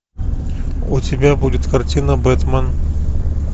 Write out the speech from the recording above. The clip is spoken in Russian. у тебя будет картина бэтмен